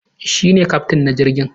Shi ne kyaftin na jirgin